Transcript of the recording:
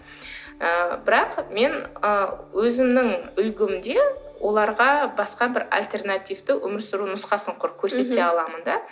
ы бірақ мен ы өзімнің үлгімде оларға басқа бір альтернативті өмір сүру нұсқасын құр көрсете аламын да